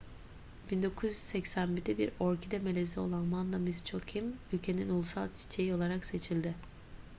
1981'de bir orkide melezi olan vanda miss joaquim ülkenin ulusal çiçeği olarak seçildi